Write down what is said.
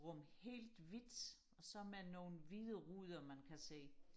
rum helt hvidt og så med nogle hvide ruder man kan se